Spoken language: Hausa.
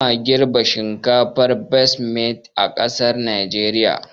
Ba ma girɓa shinkafar basmati a ƙasar najeriya